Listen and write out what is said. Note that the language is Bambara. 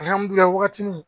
Alihamdullilaye wagati ni